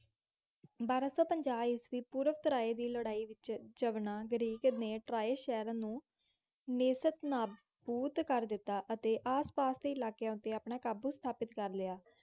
ਬਾਰਾਂ ਸੌ ਪੰਜਾਹ ਈਸਵੀ ਪੂਰਵ ਟਰਾਏ ਦੀ ਲੜਾਈ ਵਿੱਚ ਯਵਨਾਂ ਗਰੀਕ ਨੇ ਟਰਾਏ ਸ਼ਹਿਰ ਨੂੰ ਨੇਸਤਨਾਬੂਤ ਕਰ ਦਿੱਤਾ ਅਤੇ ਆਸਪਾਸ ਦੇ ਇਲਾਕਿਆਂ ਉੱਤੇ ਆਪਣਾ ਕਾਬੂ ਸਥਾਪਤ ਕਰ ਲਿਆ।